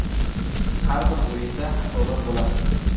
Har bir o‘yinda xatolar bo‘ladi.